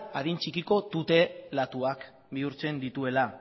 adin txikiko tutelatuak bihurtzen dituela